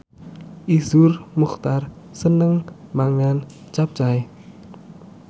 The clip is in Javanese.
Iszur Muchtar seneng mangan capcay